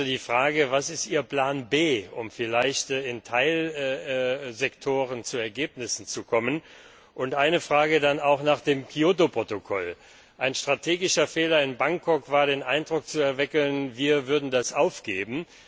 Die Frage ist also Was ist Ihr Plan B, um vielleicht in Teilsektoren zu Ergebnissen zu kommen? Eine Frage dann auch noch zum Kyoto Protokoll Ein strategischer Fehler in Bangkok war, den Eindruck zu erwecken, wir würden es aufgeben.